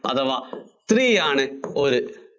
അഥവാ three ആണ് ഒരു